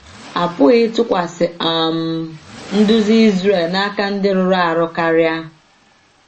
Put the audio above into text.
A pụghị ịtụkwasị um nduzi Izrel n’aka ndị rụrụ arụ karịa.